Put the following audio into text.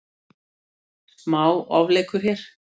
Smá ofleikur hér.